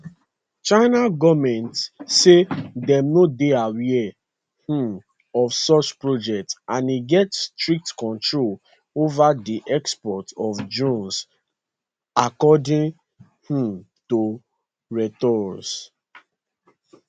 china goment say dem no dey aware um of such project and e get strict controls ova di export of drones according um to reuters